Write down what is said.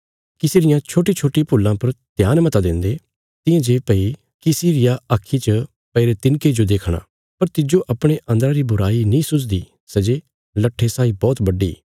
किसी रियां छोट्टीछोट्टी भूलां पर ध्यान मता देन्दे तियां जे भई किसी रिया आक्खीं च पैईरे तिनके जो देखणा पर तिज्जो अपणे अन्दरा री बुराई नीं सुझदी सै जे लट्ठे साई बौहत बड्डी